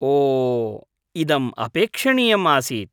ओ, इदम् अपेक्षणीयम् आसीत्।